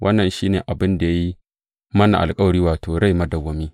Wannan shi ne abin da ya yi mana alkawari, wato, rai madawwami.